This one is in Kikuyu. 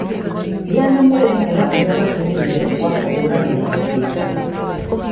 Gĩa na mwerekera ũrĩa wagĩrĩire wa kũhũrana na mathĩna.